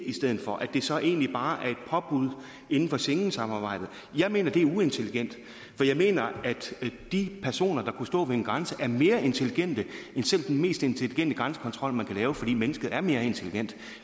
i stedet for at det så egentlig bare er et påbud inden for schengensamarbejdet jeg mener at det er uintelligent for jeg mener at de personer der kunne stå ved en grænse er mere intelligente end selv den mest intelligente grænsekontrol man kan lave fordi mennesket er mere intelligent